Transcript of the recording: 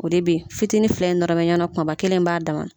O de bɛ yen, fitini fila in nɔrɔ bɛ ɲɔgɔn na, kumaba kelen in b'a da